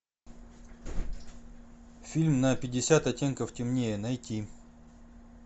фильм на пятьдесят оттенков темнее найти